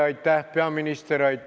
Aitäh, peaminister!